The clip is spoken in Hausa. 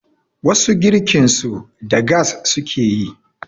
wasu girkinsu da gas suke yi